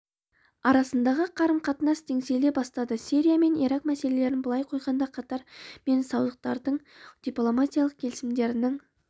арасындағы қарым-қатынас теңселе бастады сирия мен ирак мәселесін былай қойғанда катар мен саудтықтардың дипломатиялық келісімдерінің